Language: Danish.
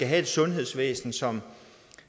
have et sundhedsvæsen som